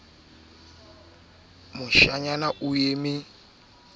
e ka tshehetswang ka h